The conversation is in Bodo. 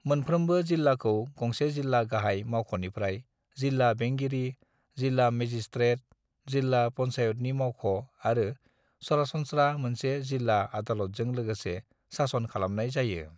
"मोनफ्रोमबो जिल्लाखौ गंसे जिल्ला गाहाय मावख'निफ्राय जिल्ला बेंगिरि, जिल्ला मेजिस्ट्रेट, जिल्ला पंचायतनि मावख' आरो सरासनस्रा मोनसे जिल्ला आदालतजों लोगोसे सासन खालामनाय जायो।"